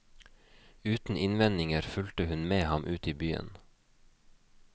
Uten innvendinger fulgte hun med ham ut i byen.